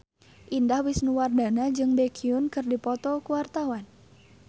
Indah Wisnuwardana jeung Baekhyun keur dipoto ku wartawan